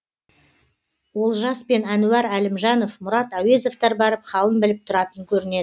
олжас пен әнуар әлімжанов мұрат әуезовтер барып халін біліп тұратын көрінеді